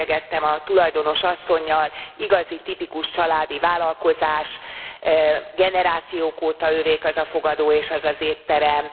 Elbeszélgettem a tulajdonos asszonnyal. Igazi tipikus családi vállalkozás, generációk óta övék ez a fogadó és ez az étterem.